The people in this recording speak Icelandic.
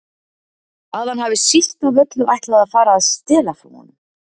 Að hann hafi síst af öllu ætlað að fara að stela frá honum.